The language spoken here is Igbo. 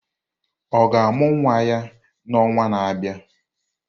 Ọ ga-amụ nwa ya n'ọnwa na-abịa?